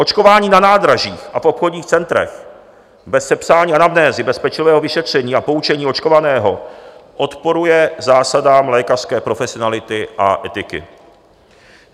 Očkování na nádražích a v obchodních centrech, bez sepsání anamnézy, bez pečlivého vyšetření a poučení očkovaného, odporuje zásadám lékařské profesionality a etiky.